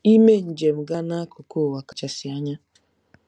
Ime njem gaa n'akụkụ ụwa kachasị anya